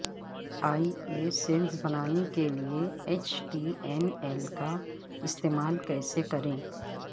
ای بے سیلز بنانے کیلئے ایچ ٹی ایم ایل کا استعمال کیسے کریں